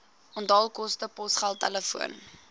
onthaalkoste posgeld telefoon